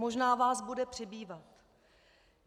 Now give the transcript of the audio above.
Možná vás bude přibývat.